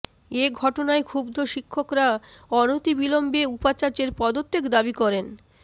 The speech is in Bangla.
এ ঘটনায় ক্ষুব্ধ শিক্ষকরা অনতিবিলম্বে উপাচার্যের পদত্যাগ দাবি করেন